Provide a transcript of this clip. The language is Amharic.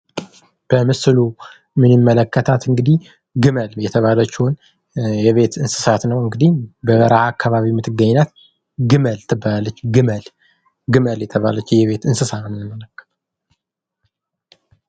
ምስሉ ምን ይመለከታት ግመል የተባለችውን የቤት እንስሳት ነው እንግዲህ በረሃ አከባቢ የምትገኝ ግመል ግመል የተባለች እንስ።